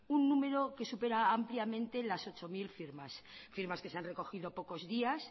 un número que supera ampliamente las ocho mil firmas que se han recogido pocos días